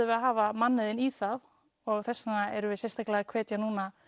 við að hafa mannauðinn í það og þess vegna erum við sérstaklega að hvetja